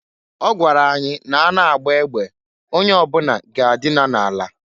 Ọ gwara anyị na- a na agba egbe, onye ọbuna ga-adịna na ala.